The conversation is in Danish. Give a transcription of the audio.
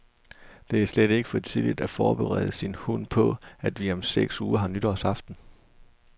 Det er slet ikke for tidligt at forberede sin hund på, at vi om seks uger har nytårsaften.